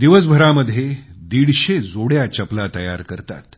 दिवसभरामध्ये दीडशे जोडी चपला तयार करतात